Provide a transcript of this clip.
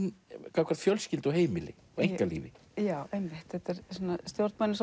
gagnvart fjölskyldu heimili og einkalífi já þetta eru stjórnmálin